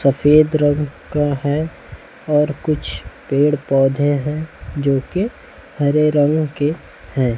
सफेद रंग का है और कुछ पेड़ पौधे हैं जोकि हरे रंग के हैं।